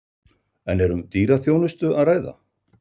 En er um dýra þjónustu að ræða?